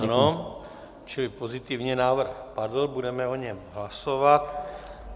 Ano, čili pozitivně, návrh padl, budeme o něm hlasovat.